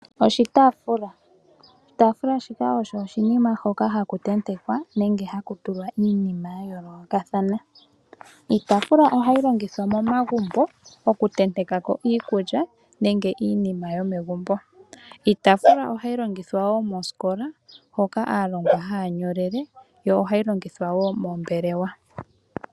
Oshitaafula Oshitaafula osho oshinima shoka haku tentekwa nenge haku tulwa iinima ya yoolokathana. Ohayi longithwa momagumbo okutentekako iikulya nenge iinima yomegumbo. Ohayi longithwa woo mosikola hoka aalongwa haa nyolele, yo ohayi longithwa woo moombelewa.